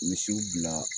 Misiw bila